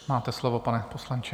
Máte slovo, pane poslanče.